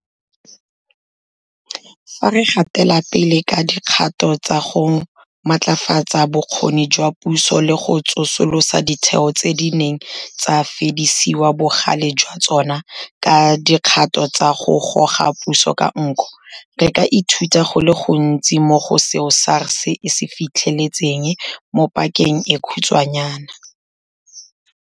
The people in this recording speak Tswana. Fa re gatela pele ka dikgato tsa go matlafatsa bokgoni jwa puso le go tsosolosa ditheo tse di neng tsa fedisiwa bogale jwa tsona ka dikgato tsa go goga puso ka nko, re ka ithuta go le gontsi mo go seo SARS e se fitlheletseng mo pakeng e khutshwanyana.